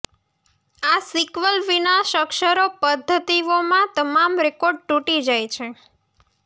આ સિક્વલ વિનાશ અક્ષરો પદ્ધતિઓમાં તમામ રેકોર્ડ તૂટી જાય છે